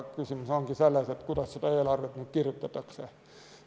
Küsimus ongi selles, kuidas seda eelarvet kirjutatakse.